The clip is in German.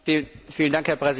Herr Präsident!